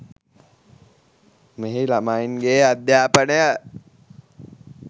මෙහි ළමයින්ගේ අධ්‍යාපනය